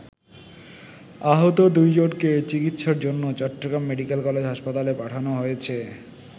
আহত দুইজনকে চিকিৎসার জন্য চট্টগ্রাম মেডিকেল কলেজ হাসপাতালে পাঠানো হয়েছে।